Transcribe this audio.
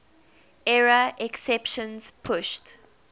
error exceptions pushed